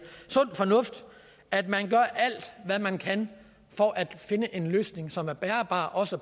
sund fornuft at man gør alt hvad man kan for at finde en løsning som er holdbar også